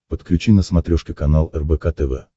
подключи на смотрешке канал рбк тв